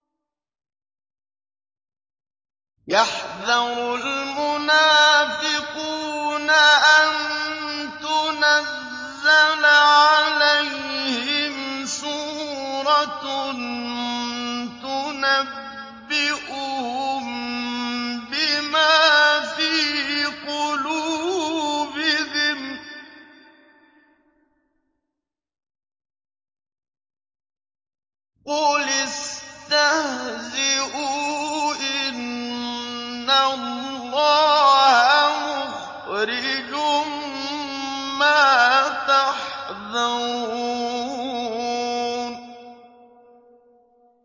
يَحْذَرُ الْمُنَافِقُونَ أَن تُنَزَّلَ عَلَيْهِمْ سُورَةٌ تُنَبِّئُهُم بِمَا فِي قُلُوبِهِمْ ۚ قُلِ اسْتَهْزِئُوا إِنَّ اللَّهَ مُخْرِجٌ مَّا تَحْذَرُونَ